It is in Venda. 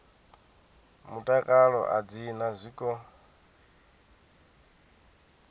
mutakalo a dzi na zwiko